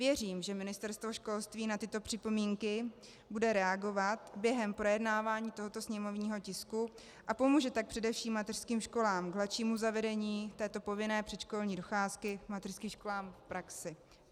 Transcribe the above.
Věřím, že Ministerstvo školství na tyto připomínky bude reagovat během projednávání tohoto sněmovního tisku, a pomůže tak především mateřským školám k hladšímu zavedení této povinné předškolní docházky mateřským školám v praxi.